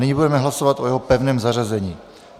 Nyní budeme hlasovat o jeho pevném zařazení.